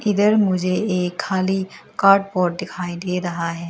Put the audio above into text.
इधर मुझे ये खाली कार्ट पार्ट दिखाई दे रहा है।